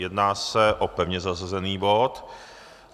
Jedná se o pevně zařazený bod